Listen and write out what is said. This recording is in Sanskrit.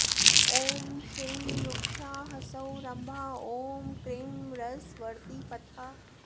ॐ श्रीं रूक्षा हसौः रम्भा ॐ क्रीं रसवर्तिपथा